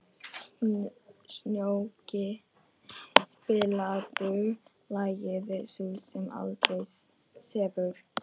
Snjóki, spilaðu lagið „Sú sem aldrei sefur“.